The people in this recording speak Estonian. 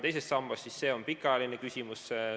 Teine sammas on pikaajaline küsimus.